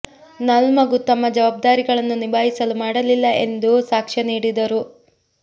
ನಲ್ ಮಗು ತಮ್ಮ ಜವಾಬ್ದಾರಿಗಳನ್ನು ನಿಭಾಯಿಸಲು ಮಾಡಲಿಲ್ಲ ಎಂದು ಸಾಕ್ಷ್ಯ ನುಡಿದರು